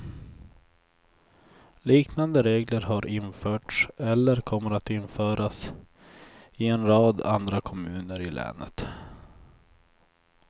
Liknande regler har införts eller kommer att införas i en rad andra kommuner i länet.